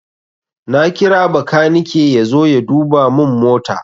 Na kira bakanike yazo ya duba mun mota